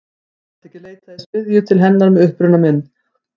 Ég gat ekki leitað í smiðju til hennar með uppruna minn.